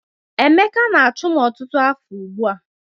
Emeka na-achụ m ọtụtụ afọ ugbu a